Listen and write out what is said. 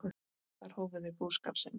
Þar hófu þau búskap sinn.